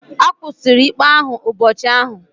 A kwụsịrị ikpe ahụ ụbọchị ahụ?